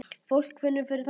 Fólk finnur fyrir þessu